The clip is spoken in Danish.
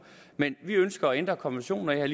men vi ønsker at ændre konventionen og jeg